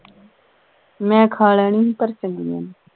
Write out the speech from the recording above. ਮੈਂ ਖਾ ਲੈਣੀ ਹੀ ਪਰ ਚੰਗੀਆਂ ਨਹੀਂ